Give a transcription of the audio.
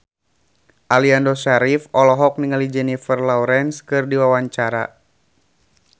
Aliando Syarif olohok ningali Jennifer Lawrence keur diwawancara